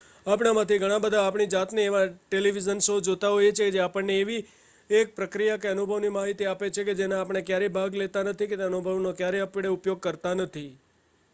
આપણામાંથી ઘણા બધા આપણી જાતને એવા ટેલીવિઝન શો જોતા જોઈએ છીએ કે જે આપણને એવી એક પ્રક્રિયા કે અનુભવની માહિતી આપે છે કે જેમાં આપણે ક્યારેય ભાગ લેતા નથી કે તે અનુભવનો ક્યારેય ઉપયોગ કરતા નથી